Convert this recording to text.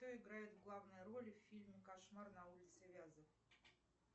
кто играет в главной роли в фильме кошмар на улице вязов